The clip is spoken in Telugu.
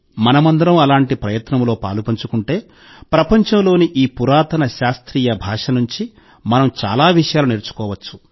మనమందరం అలాంటి ప్రయత్నంలో పాలుపంచుకుంటే ప్రపంచంలోని ఈ పురాతన శాస్త్రీయ భాష నుండి మనం చాలా విషయాలు నేర్చుకోవచ్చు